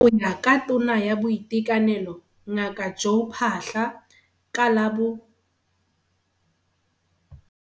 Go ya ka Tona ya Boitekanelo Ngaka Joe Phaahla, ka la bo